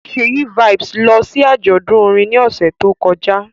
Ṣèyí Vibez lọ sí àjọ̀dún orin ní ọ̀sẹ̀ tó kọjá